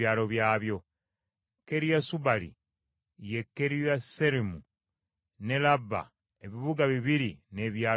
Kiriasubaali, ye Kiriyasuyalimu, n’e Laaba ebibuga bibiri n’ebyalo byabyo.